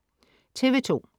TV2: